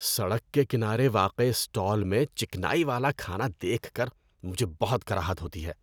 ‏سڑک کے کنارے واقع اسٹال میں چکنائی والا کھانا دیکھ کر مجھے بہت کراہت ہوتی ہے۔